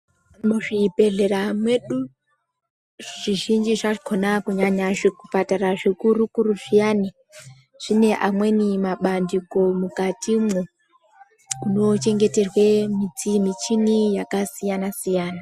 Muzvibhedhlera mwedu zvizhinji zvakhona kunyanya zvipatara zvikurukuru zviyani zvine amweniwo mabandiko mukatimwo kunochengeterwe michini yakasiyana siyana.